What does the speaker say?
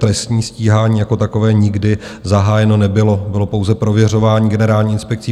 Trestní stíhání jako takové nikdy zahájeno nebylo, bylo pouze prověřování Generální inspekcí.